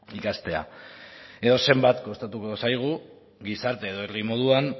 ikastea edo zenbat kostatuko zaigu gizarte edo herri moduan